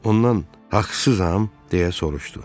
Ondan 'haqsızam' deyə soruşdu.